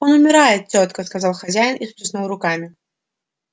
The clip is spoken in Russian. он умирает тётка сказал хозяин и всплеснул руками